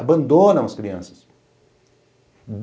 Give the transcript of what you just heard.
Abandonam as crianças.